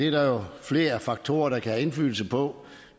jo flere faktorer der kan have indflydelse på